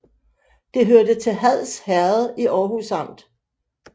Det hørte til Hads Herred i Aarhus Amt